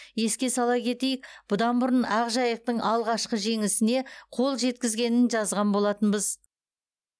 еске сала кетейік бұдан бұрын ақжайықтың алғашқы жеңісіне қол жеткізгенін жазған болатынбыз